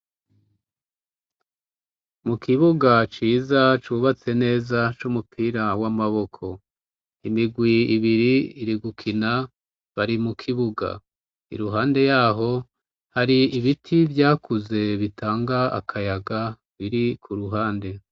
Mu kibuga ciza cubatse neza c'umupira w'amaboko imigwi ibiri iri gukina bari mu kibuga i ruhande yaho hari ibiti vyakuze bitanga akayaga biri ku ruhande.